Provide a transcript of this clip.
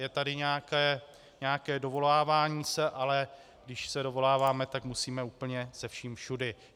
Je tady nějaké dovolávání se, ale když se dovoláme, tak musíme úplně se vším všudy.